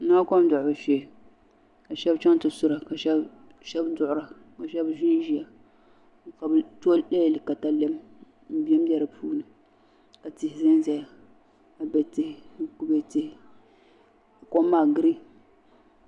Di nyɛla kom duɣubu shee ka sheba chaŋ ti sura ka sheba duɣura ka sheba ʒinʒia ka bɛ to katalɛm m bembe di puuni ka tihi zanzaya kube tihi kom maa girin.